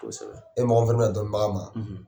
Kosɛbɛ; E mɔgɔ fɛnfɛn bɛ na dɔɔni baga man;